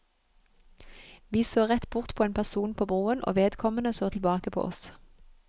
Vi så rett bort på en person på broen, og vedkommende så tilbake på oss.